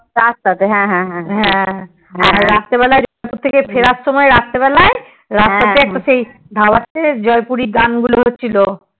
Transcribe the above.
রাস্তাতে হ্যাঁ হ্যাঁ হ্যাঁ আর রাতের বেলা জয়পুর থেকে ফেরার সময় রাস্তা তে একটা ধাবা তে জয়পুরি গান গুলো হচ্ছিলো